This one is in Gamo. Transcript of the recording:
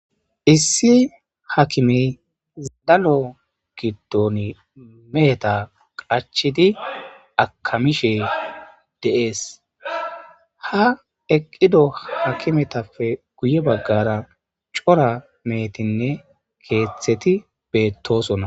Issi hakimmeyi danno giddon Meheta qachchidi akamishe de'esi ha eqqido akimeta guye baggara cora mehettinne keththeti bettossona.